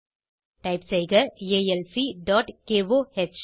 type செய்க alcகோஹ்